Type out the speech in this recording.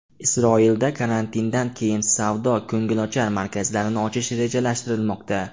Isroilda karantindan keyin savdo-ko‘ngilochar markazlarni ochish rejalashtirilmoqda.